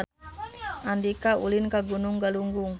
Andika ulin ka Gunung Galunggung